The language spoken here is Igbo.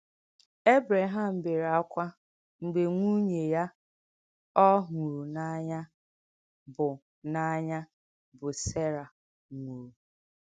Èbrèhàm bèrè ákwá m̀gbè nwùnyè yà ọ́ hùrù n’ànyà, bụ́ n’ànyà, bụ́ Sèrà, nwùrù.